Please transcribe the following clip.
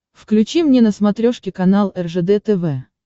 включи мне на смотрешке канал ржд тв